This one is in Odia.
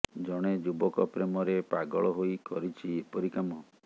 ଜଣେ ଯୁବକ ପ୍ରେମରେ ପାଗଳ ହୋଇ କରିଛି ଏପରି କାମ